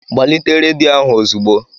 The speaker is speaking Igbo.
Gbalite rediyo ahụ ozugbo!